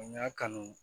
N y'a kanu